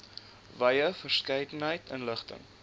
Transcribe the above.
wye verskeidenheid inligting